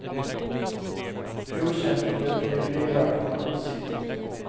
Okänt om det kan ge biverkningar på sikt.